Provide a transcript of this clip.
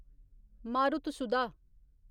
मारुतसुधा